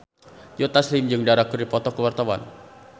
Joe Taslim jeung Dara keur dipoto ku wartawan